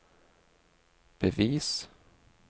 bevis